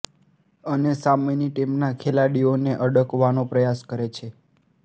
અને સામેની ટીમના ખેલાડીઓને અડકવાનો પ્રયાસ કરે છે